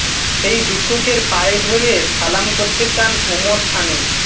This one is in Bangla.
সেই ভিক্ষুকের পায়ে ধরে সালাম করতে চান ওমর সানি